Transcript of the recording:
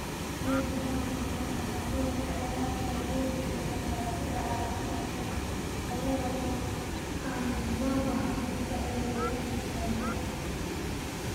Ciidda hodanka ku ah nafaqooyinka ayaa taageeri kara dalagyada caafimaadka leh iyada oo aan loo baahnayn bacrimiyeyaasha synthetic.